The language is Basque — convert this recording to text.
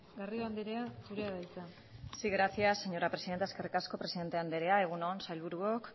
garrido andrea zurea da hitza sí gracias señora presidenta eskerrik asko presidente andrea egun on sailburuok